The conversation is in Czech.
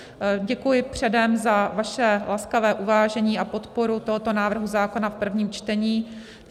Děkuji předem za vaše laskavé uvážení a podporu tohoto návrhu zákona v prvním čtení.